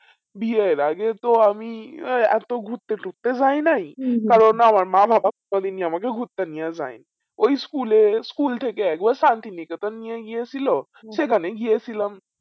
বিয়ের আগে তো আমি আহ এত ঘুরতে তুরতে যাইনাই কারণ না আমার মা বাবা কোনো দিনই আমাকে ঘুরতে নিয়ে যাই ওই school এ school থেকে আগে সান্তিনিকেতন নিয়ে গেছিল সেখানেই গেছিলাম